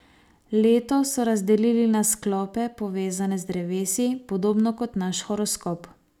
Leto so razdelili na sklope, povezane z drevesi, podobno kot naš horoskop.